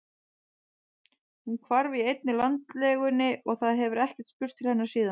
Hún hvarf í einni landlegunni og það hefur ekkert spurst til hennar síðan.